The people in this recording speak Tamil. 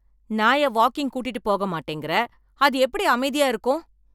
நாய வாக்கிங் கூட்டிட்டு போக மாட்டேங்கிற, அது எப்படி அமைதியா இருப்பான்?